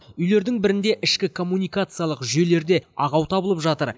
үйлердің бірінде ішкі коммуникациялық жүйелерде ақау табылып жатыр